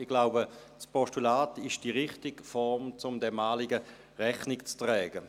Ich glaube, das Postulat ist die richtige Form, um diesem Anliegen Rechnung zu tragen.